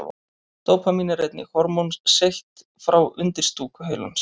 Dópamín er einnig hormón seytt frá undirstúku heilans.